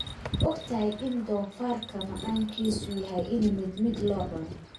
Ma ogtahay in doofaarka macaankiisu yahay in mid mid loo cuno